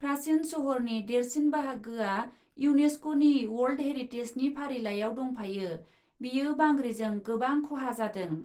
प्राचिन सहरनि देरसिन बाहागोआ इउनेसक'नि वर्ल्ड हेरिटेजनि फारिलाइयाव दंफायो, बेयो बांग्रिजों गोबां खहा जादों ।